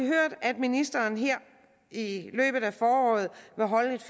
hørt at ministeren her i løbet af foråret vil holde et